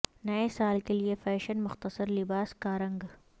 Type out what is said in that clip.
نئے سال کے لئے فیشن مختصر لباس کا رنگ